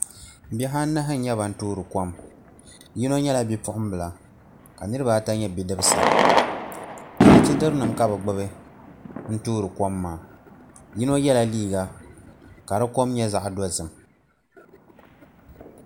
Bihi anahi n nyɛ ban toori kom yino nyɛla bipuɣunbila ka niraba ata nyɛ bidibsi alichɛdiri nim ka bi gbubi n toori kom maa yino yɛla liiga ka di kom nyɛ zaɣ dozim